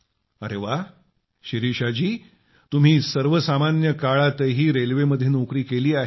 अरे वा शिरीषा जी तुम्ही सर्वसामान्य काळातही रेल्वेमध्ये नोकरी केली आहे